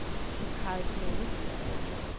Karlslunde